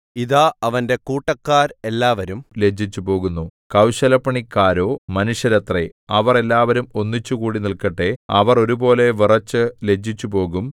ഇതാ അവന്റെ കൂട്ടക്കാർ എല്ലാവരും ലജ്ജിച്ചുപോകുന്നു കൗശലപ്പണിക്കാരോ മനുഷ്യരത്രേ അവർ എല്ലാവരും ഒന്നിച്ചുകൂടി നില്‍ക്കട്ടെ അവർ ഒരുപോലെ വിറച്ചു ലജ്ജിച്ചുപോകും